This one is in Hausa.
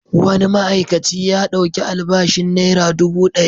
Wani ma'aikaci ya ɗauki albashin naira dubu ɗari.